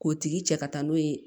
K'o tigi cɛ ka taa n'o ye